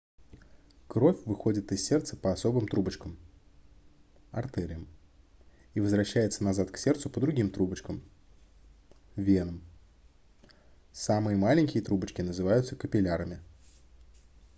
кровь выходит из сердца по особым трубочкам артериям и возвращается назад к сердцу по другим трубочкам венам. самые маленькие трубочки называют капиллярами